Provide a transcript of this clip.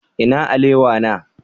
Ina alewa na?